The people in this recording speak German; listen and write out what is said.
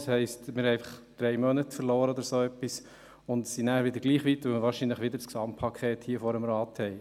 Das heisst: Wir haben einfach drei Monate oder so verloren und sind nachher wieder gleich weit, weil wir hier im Rat wahrscheinlich wieder das Gesamtpaket haben.